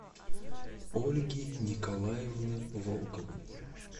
ольги николаевны волковой